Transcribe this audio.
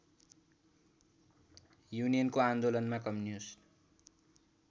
युनियनको आन्दोलनमा कम्युनिस्ट